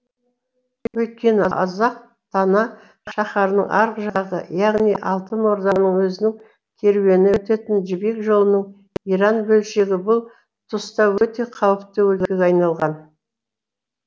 өйткені азақ тана шаһарының арғы жағы яғни алтын орданың өзінің керуені өтетін жібек жолының иран бөлшегі бұл тұста өте қауіпті өлкеге айналған